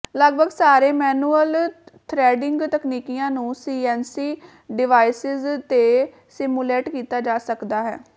ਲੱਗਭਗ ਸਾਰੇ manual threading ਤਕਨੀਕੀਆਂ ਨੂੰ ਸੀਐਨਸੀ ਡਿਵਾਈਸਿਸ ਤੇ ਸਿਮੂਲੇਟ ਕੀਤਾ ਜਾ ਸਕਦਾ ਹੈ